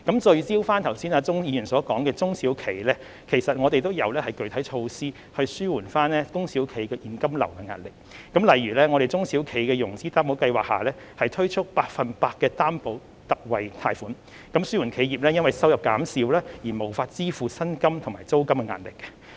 聚焦鍾議員剛才所說的中小企，其實我們亦有具體措施紓緩中小企的現金流壓力，例如在中小企融資擔保計劃下，推出百分百擔保特惠貸款，紓緩企業因為收入減少而無法支付薪金和租金的壓力。